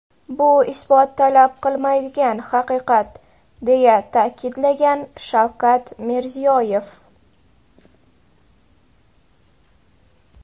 Bu isbot talab qilmaydigan, haqiqat”, deya ta’kidlagan Shavkat Mirziyoyev.